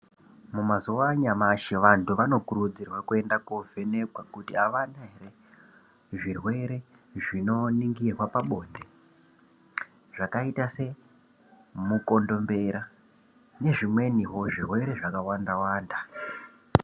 Mumazuva anyamashi vantu vanokurudzirwa kuenda koovhenekwa kuti avana here zvirwere zvinoningirwa pabonde zvakaita semukondombera nezvimweniwo zvirwere zvakawanda-wanda.